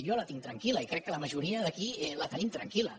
jo la tinc tranquil·la i crec que la majoria d’aquí la tenim tranquil·la